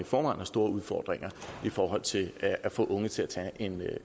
forvejen har store udfordringer i forhold til at få unge til at tage